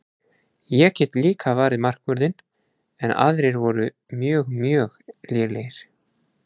Ég get líka varið markvörðinn en aðrir voru mjög mjög lélegir.